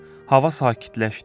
Hava sakitləşdi.